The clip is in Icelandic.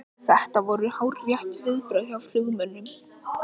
Þetta voru hárrétt viðbrögð hjá flugmönnunum